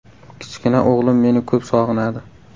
Kichkina o‘g‘lim meni ko‘p sog‘inadi.